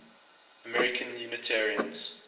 american unitarians